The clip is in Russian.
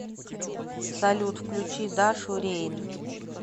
салют включи дашу рейн